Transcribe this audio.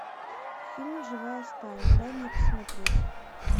фильм живая сталь дай мне посмотреть